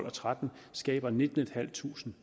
og tretten skaber nittentusinde